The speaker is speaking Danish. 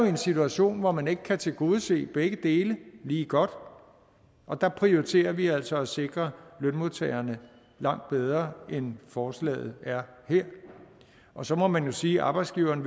i en situation hvor man ikke kan tilgodese begge dele lige godt og der prioriterer vi altså at sikre lønmodtageren langt bedre end forslaget her og så må man sige at arbejdsgiveren